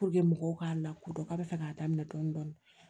mɔgɔw k'a lakodɔn k'a bɛ fɛ ka daminɛ dɔɔnin dɔɔnin